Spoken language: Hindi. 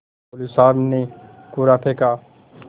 मौलवी साहब ने कुर्रा फेंका